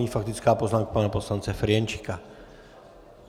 Nyní faktická poznámka pana poslance Ferjenčíka.